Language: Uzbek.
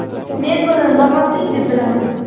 Men buni nohaqlik deb bilaman.